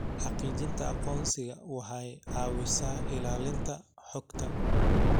Xaqiijinta aqoonsiga waxay caawisaa ilaalinta xogta.